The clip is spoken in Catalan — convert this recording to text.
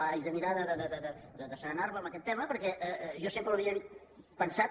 haig de mirar d’asserenar me en aquest tema perquè jo sempre havia pensat